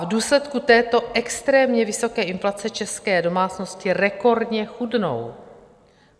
V důsledku této extrémně vysoké inflace české domácnosti rekordně chudnou.